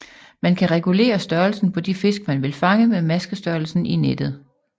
Man kan regulere størrelsen på de fisk man vil fange med maskestørrelsen i nettet